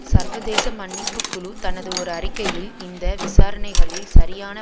சர்வதேச மன்னிப்பு குழு தனது ஓர் அறிக்கையில் இந்த விசாரணகளில் சரியான